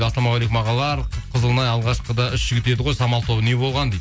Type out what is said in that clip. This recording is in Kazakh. ассалаумағалейкум ағалар қып қызылын ай алғашқыда үш жігіт еді ғой самал тобы не болған дейді